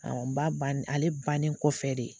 n ba banni ale bannen kɔfɛ de